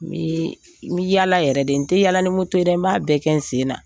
N bi yaala yɛrɛ de n tɛ yaala la n b'a bɛɛ kɛ n sen na.